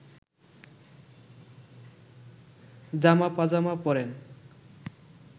জামা পাজামা পরেন